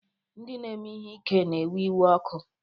Ndị na-eme ihe ike na-ewe iwe ọkụ.